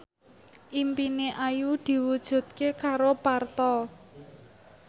impine Ayu diwujudke karo Parto